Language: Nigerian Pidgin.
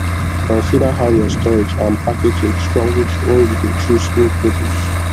consider how your storage and packaging strong reach when you dey chose new produce